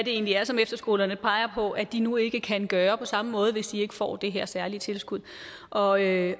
egentlig er som efterskolerne peger på at de nu ikke kan gøre på samme måde hvis de ikke får det her særlige tilskud og jeg